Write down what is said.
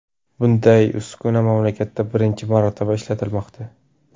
Bunday uskuna mamlakatda birinchi marotaba ishlatilmoqda.